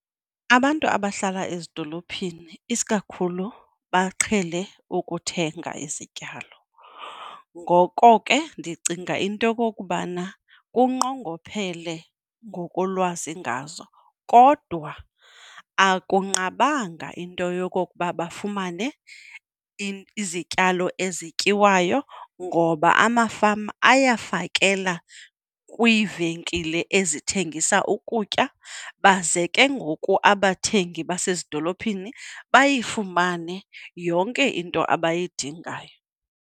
Abantu abahlala ezidolophini isikakhulu baqhele ukuthenga izityalo, ngoko ke ndicinga into yokokubana kunqongophele ngokolwazi ngazo. Kodwa akunqabanga into yokokuba bafumane izityalo ezityiwayo ngoba amafama ayafakela kwiivenkile ezithengisa ukutya baze ke ngoku abathengi basezidolophini bayifumane yonke into abayidingayo.